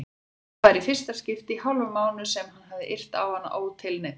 Það var í fyrsta skipti í hálfan mánuð sem hann hafði yrt á hana ótilneyddur.